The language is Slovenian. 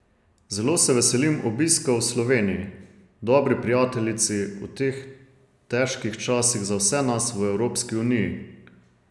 Zelo se veselim obiska v Sloveniji, dobri prijateljici v teh težkih časih za vse nas v Evropski uniji.